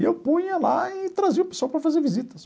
E eu punha lá e trazia o pessoal para fazer visitas.